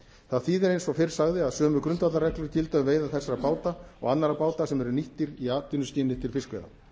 það þýðir eins og fyrr sagði að sömu grundvallarreglur gilda um veiðar þessara báta og annarra báta sem eru nýttir í atvinnuskyni til fiskveiða